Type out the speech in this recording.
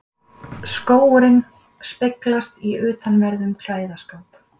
Skógurinn speglast í utanverðum klæðaskáp